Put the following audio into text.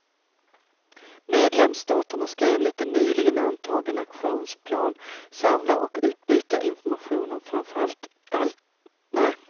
Medlemsstaterna ska enligt en nyligen antagen aktionsplan samla och utbyta information om framför allt internationella ligor.